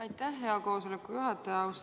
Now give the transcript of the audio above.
Aitäh, hea koosoleku juhataja!